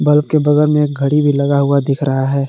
Bulb के बगल में एक घड़ी भी लगा हुआ दिख रहा है।